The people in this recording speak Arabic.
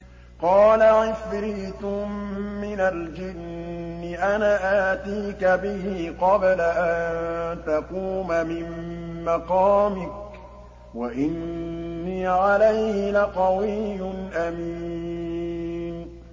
قَالَ عِفْرِيتٌ مِّنَ الْجِنِّ أَنَا آتِيكَ بِهِ قَبْلَ أَن تَقُومَ مِن مَّقَامِكَ ۖ وَإِنِّي عَلَيْهِ لَقَوِيٌّ أَمِينٌ